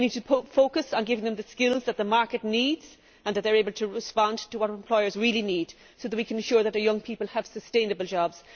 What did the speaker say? We need to focus on giving them the skills that the market needs, and that they are able to respond to what employers really need so that we can be sure that our young people have sustainable jobs.